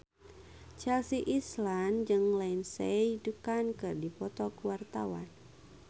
Chelsea Islan jeung Lindsay Ducan keur dipoto ku wartawan